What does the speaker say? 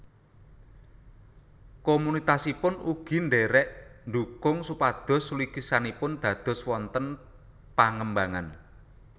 Komunitasipun ugi ndherek ndukung supados lukisanipun dados wonten pangembangan